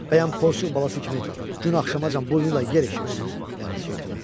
Bəyəm porsuq balası kimi gün axşamacaq burnu ilə yer eşirdi, lənət şeytana.